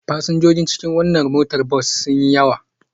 Fasinjojin cikin wannan motar bas sun yi yawa.